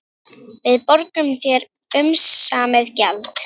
Við borgum þér umsamið gjald